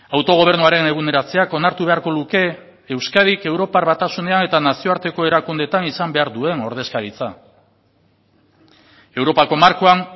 autogobernuaren eguneratzeak onartu beharko luke euskadik europar batasunean eta nazioarteko erakundeetan izan behar duen ordezkaritza europako markoan